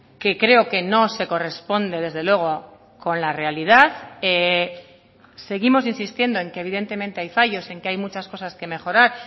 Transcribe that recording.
que creo que no se corresponde desde luego con la realidad seguimos insistiendo en que evidentemente hay fallos en que hay muchas cosas que mejorar